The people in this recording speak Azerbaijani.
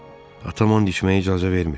Atam and içməyə icazə vermir.